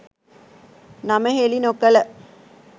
නම හෙළි නො කළ